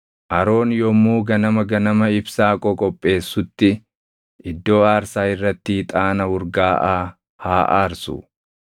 “Aroon yommuu ganama ganama ibsaa qoqopheessutti iddoo aarsaa irratti ixaana urgaaʼaa haa aarsu.